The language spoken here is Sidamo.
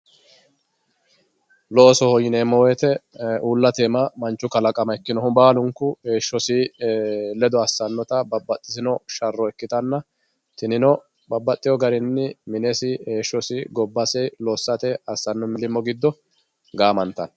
loosoho yineemmohu baattote aana manchu kalaqama ikkinohu heeshsho ledo assannota babbaxitinno sharro ikkitanna tinino minesi heeshshosi gobbasi lossate assanno millimmo giddo gaamantanno